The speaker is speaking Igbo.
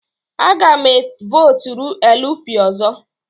Aga m e votụrụ LP ọzọ.